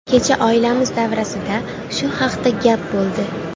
Kecha oilamiz davrasida shu haqda gap bo‘ldi.